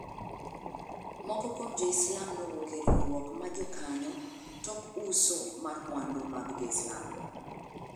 Moko kuom jo Islam nowuok e riwruok ma jo kanyo tok uso mar mwandu mag jo Islam.